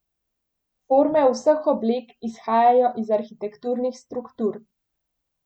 Forme vseh oblek izhajajo iz arhitekturnih struktur.